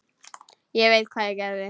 Ég veit hvað ég geri.